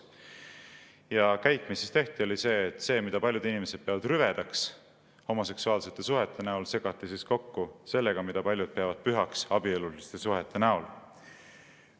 Ja käik, mis tehti, oli see, et see, mida paljud inimesed peavad rüvedaks homoseksuaalsete suhete näol, segati kokku sellega, mida paljud peavad pühaks abieluliste suhete näol.